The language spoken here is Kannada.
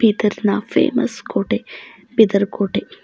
ಬೀದರ್ ನಾ ಫೇಮಸ್ ಕೋಟೆ ಬೀದರ್ ಕೋಟೆ.